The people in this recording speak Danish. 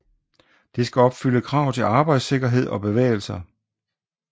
Det skal opfylde krav til arbejdssikkerhed og bevægelser